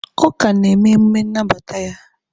Ọ ka na-eme emume nnabata ya